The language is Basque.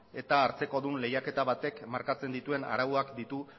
eta hartzekodun lehiaketa batek markatzen dituen arauak ditu